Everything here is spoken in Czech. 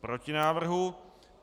Proti návrhu.